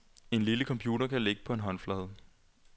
En lille computer, der kan ligge på en håndflade.